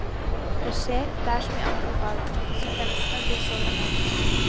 Det skjer, der som i andre fag, men konsekvensene blir så dramatiske.